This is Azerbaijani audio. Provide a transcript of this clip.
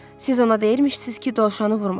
Siz ona deyirmişsiniz ki, dovşanı vurmasın.